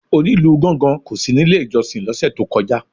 Onílù gángan kò sí nílé ìjọsìn lọ́sẹ̀ tó ìkọjá.